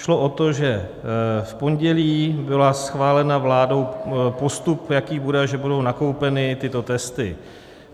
Šlo o to, že v pondělí byl schválen vládou postup, jaký bude, že budou nakoupeny tyto testy.